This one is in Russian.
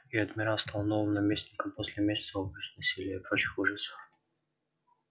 и адмирал стал новым наместником после месяца убийств насилия и прочих ужасов